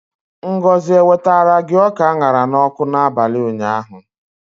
Ngozi ewetara gi ọka a ṅara n'ọkụ n'abalị ụnyaahụ?